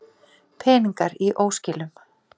Peningar í óskilum